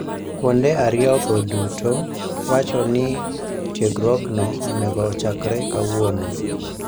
Kuonde ariyogo duto wacho ni tiegruokno onego ochakre kawuono.